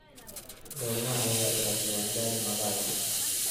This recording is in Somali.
Goorma ayay dhalatay Wangari Maathai?